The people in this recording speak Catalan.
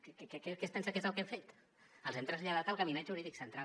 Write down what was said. què es pensa que és el que hem fet els hem traslladat al gabinet jurídic central